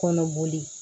Kɔnɔ boli